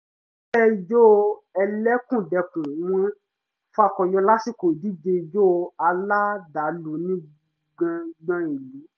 ìgbésẹ̀ ìjó ẹlẹ́kùnjẹkùn wọn fakọyọ lásìkò ìdíje ijó aládàlú ní gbàngán ìlú